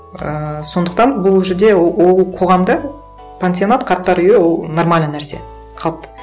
ыыы сондықтан бұл жерде ол қоғамда пансионат қарттар үйі ол нормальный нәрсе қалыпты